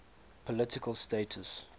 political status